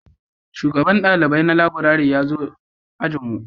Shugaban dalibai na laburare ya zo ajin mu